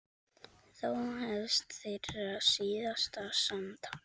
Þá hefst þeirra síðasta samtal.